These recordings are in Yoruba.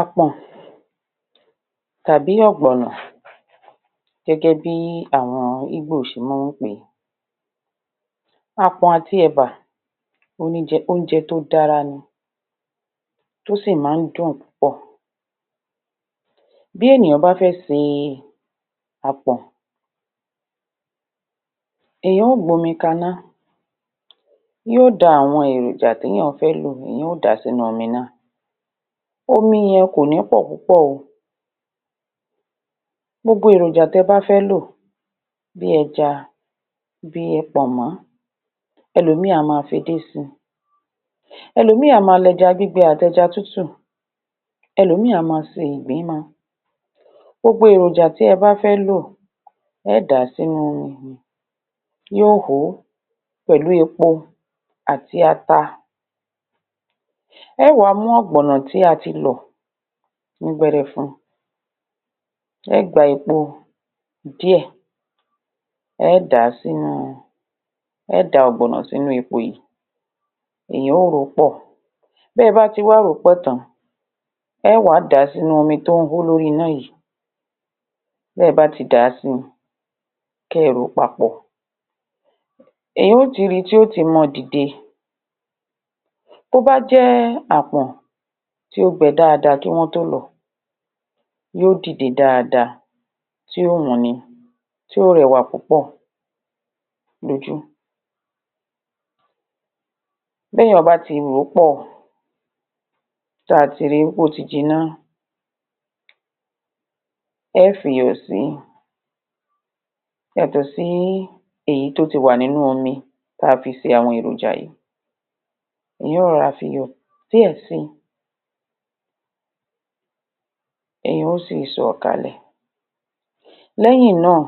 Àpò̩n tàbí ò̩gbò̩nà gé̩gé̩ bí àwo̩n Ígbò s̩e mó̩o̩ ń pè àpò̩n àti è̩bà o ní je̩, oúnje̩ tó dára ni. ó sì má a ń dùn púpò̩. Bí ènìyàn bá fé̩ see àpò̩n èyàn ó gbómi kaná yó da àwo̩n èròjà téyàn fé lò, èyàn yó dà sínú omi náà omi ye̩n kò ní pò̩ púpò̩ o gbogbo èròjà te bá fé̩ lò bíi e̩ja bíi pò̩nmo̩ e̩lòmíìn a máa fedé si e̩lòmíìn a máa l’e̩ja gbígbe àt’e̩ja tútù e̩lòmíìn a máa se ìgbín mo. gbogbo èròjà te bá fé̩ lò e̩ é̩ dà á sínú u omi yóò hó pèlú epo àti ata e̩ é mú ò̩gbònà tí a ti lò̩ ní gbere̩fu e̩ é̩ gbá epo díè̩ e̩ é̩ dà á sínú u e̩ é̩ dà á ò̩gbò̩nà sínú epo yìí èyàn ó rò ó pò̩ tí e̩ bá ti wá rò ó pò̩ tàn-án e̩ é̩ wà á dà á sínú omi tó ń hó lórí iná yìí te̩ bá ti dà á si, ké̩ ẹ r ò ó papò̩, èyàn ó ti ri tí yó ti máa dìde. tó bá jé̩ àpo̩n tó gbe̩ dáadáa kí wó̩n tó lò̩ ó̩ yíó dìde dáadáa tí ó wu ni tí ó re̩wà púpò̩ lójú. B’éyàn bá ti rò ó pò̩, tá a ti rip é ó ti jiná, e̩ é fiyò̩ si. Yàtò̩ sí èyí tó ti wà níní omi ta fi se àwo̩n èròjà yìí èyàn ó ro̩ra fiyò̩ díè̩ si èyàn ó sì so̩ kàlè̩ Lé̩hìn náà,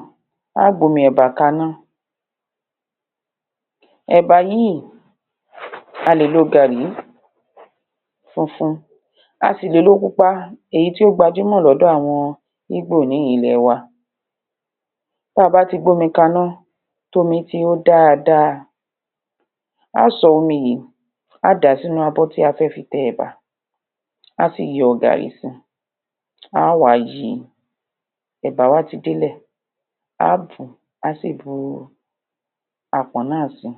a ó gbómi è̩bà kaná. È̩bà yi a lè lo gààrí funfun a sì lè lo pupa èyí tí ó gbajúmò̩ ló̩dò àwo̩n ígbò ní ilè̩ wa. Tá abá ti gbómi kaná tomi ti hó dáadáa a ó so̩ omi yìí a á dà sínú abó̩ tí a fé̩ fi te̩ è̩bà á sì yo̩ gààrí si a á wà á yíi. È̩bà wa ti délè̩. a á tu a á sì bu àpọ̀n náà si.